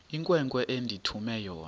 inkwenkwe endithume yona